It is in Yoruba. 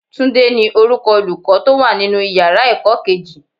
Túndé ní orúkọ Olùkọ́ tó wà nínú ìyára ẹ̀kọ́ kejì.